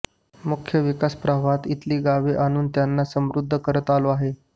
मुख्य विकास प्रवाहात इथली गावे आणून त्यांना समृध्द करत आलो आहे